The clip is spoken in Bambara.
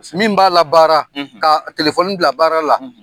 Min b'a la baara , ka bila baara la